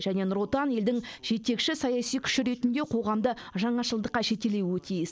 және нұр отан елдің жетекші саяси күші ретінде қоғамды жаңашылдыққа жетелеуі тиіс